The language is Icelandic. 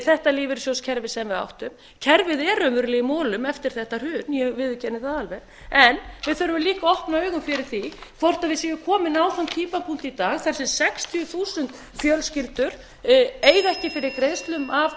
þetta lífeyrissjóðskerfi sem við áttum kerfið er raunverulega í molum eftir þetta hrun ég viðurkenni það alveg en við þurfum líka að opna augun fyrir því hvort við séum komin á þann punkt í dag þar sem sextíu þúsund fjölskyldur eiga ekki fyrir greiðslum af